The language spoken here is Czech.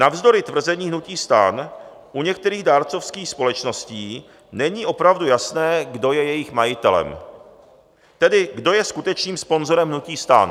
Navzdory tvrzení hnutí STAN u některých dárcovských společností není opravdu jasné, kdo je jejich majitelem, tedy kdo je skutečným sponzorem hnutí STAN.